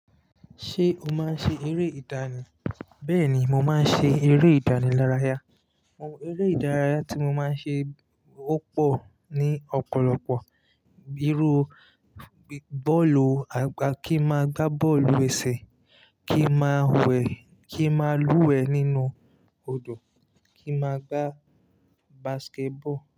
Ṣé o máa ń ṣe eré ìdánì? Bẹ́ẹ̀ni, mo máa ń ṣe eré ìdánì lára ya. Àwọn eré ìdárayá tí mo máa ń ṣe ó pọ̀ ní ọ̀pọ̀lọpọ̀. Bíi iru, bọ́ọ̀lù, kí n máa gbá bọ́ọ̀lù ẹsẹ̀, kí n máa wẹ̀, kí n máa lúwẹ̀ẹ́ nínú odò, kí n máa gbá basketball.